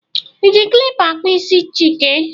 ị ji kilipa akpụ isi Chike?